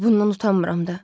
Və bundan utanmıram da.